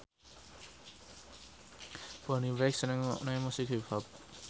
Bonnie Wright seneng ngrungokne musik hip hop